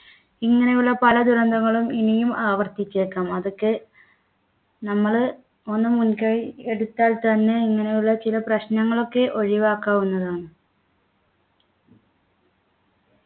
ഇങ്ങനെയുള്ള പല ദുരന്തങ്ങളും ഇനിയും ആവർത്തിച്ചേക്കാം അതൊക്കെ നമ്മള് ഒന്നും മുൻകൈ എടുത്താൽ തന്നെ ഇങ്ങനെയുള്ള ചില പ്രശ്നങ്ങളൊക്കെ ഒഴിവാക്കാവുന്നതാണ്